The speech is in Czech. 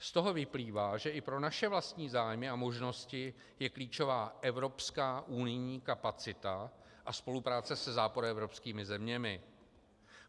Z toho vyplývá, že i pro naše vlastní zájmy a možnosti je klíčová evropská unijní kapacita a spolupráce se západoevropskými zeměmi.